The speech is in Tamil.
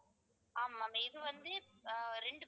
ஆமா ma'am இது வந்து ஆஹ் இரண்டு